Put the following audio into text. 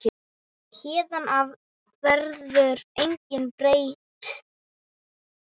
Héðan af verður engu breytt.